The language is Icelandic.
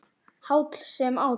Háll sem áll.